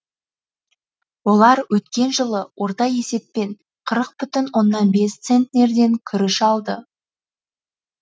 олар өткен жылы орта есеппен қырық бүтін оннан бес центнерден күріш алды